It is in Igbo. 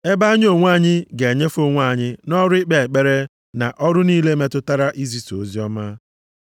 Ebe anyị onwe anyị, ga-enyefe onwe anyị nʼọrụ ikpe ekpere, na ọrụ niile metụtara izisa oziọma.”